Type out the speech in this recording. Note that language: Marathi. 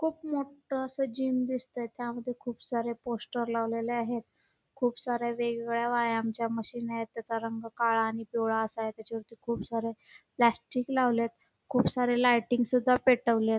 खूप मोठं असं मी जिम दिसतंय त्या मध्ये सारे पोस्टर लावलेले आहेत खूप साऱ्या व्यायामाच्या मशीन आहेत त्याच्या रंग काळा व पिवळा असा आहे त्याच्यावरती खूप सारे प्लास्टिक लावललेत खुप सारे लायटिंग सुद्धा पेटवलेत.